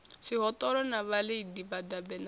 zwihoṱola na vhalidi vhadabe na